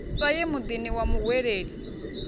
sa ye muḓini wa muhweleli